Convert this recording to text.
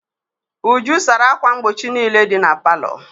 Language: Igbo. Uju sara ákwà mgbochi niile dị na palọ.